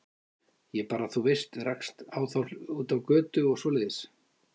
Ég bara, þú veist, rekst á þá úti á götu og svoleiðis.